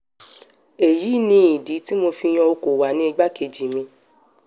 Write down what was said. èyí ni ìdí tí mo fi yan okọ̀wà ní igbákejì mi